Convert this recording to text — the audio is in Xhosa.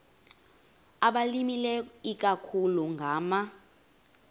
abalimileyo ikakhulu ngama